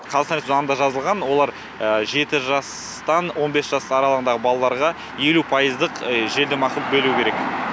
қазақстан республикасының заңында жазылған олар жеті жастан он бес жас аралығындағы балаларға елу пайыздық жеңілдік ақы бөлу керек